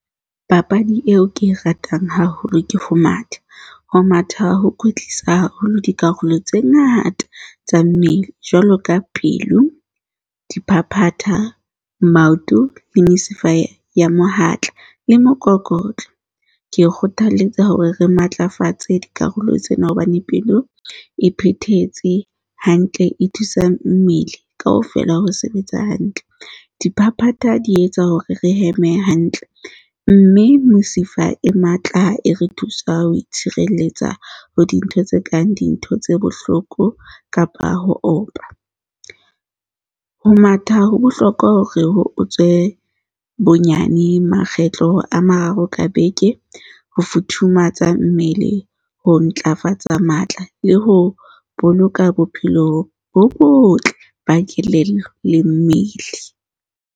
Papadi eo ke e ratang haholo ke ho mata. Ho matha ho kwetlisa haholo dikarolo tse ngata tsa mmele. Jwalo ka pelo, diphaphatha, maoto le mesifa ya mohatla le mokokotlo. Ke kgothaletsa hore re matlafatse dikarolo tsena hobane pelo e phethetse hantle, e thusa mmele kaofela ho sebetsa hantle. Diphaphatha di etsa hore re heme hantle, mme mesifa e matla e re thusa ho itshireletsa ho dintho tse kang dintho tse bohloko, kapa ho opa. Ho matha ho bohlokwa hore o tswe bonyane makgetlo a mararo ka beke. Ho futhumatsa mmele, ho ntlafatsa matla le ho boloka bophelo bo botle ba kelello le mmele.